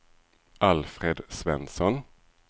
Alfred Svensson